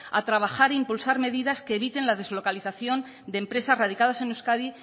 a trabajar e impulsar medidas que eviten la deslocalización de empresas radicadas en euskadi